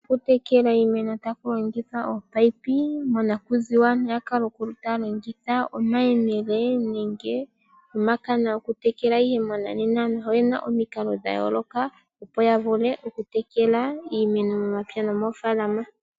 Okutekela iimeno taku longithwa ominino. Monakuziwa aantu oya kala taya longitha omayemele nenge omakana okutekela ihe mongashingeyi oyena omikalo dha yooloka opo yavule okutekela iimeno momapya no moofalama.